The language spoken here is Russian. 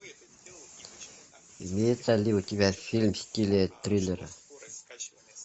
имеется ли у тебя фильм в стиле триллера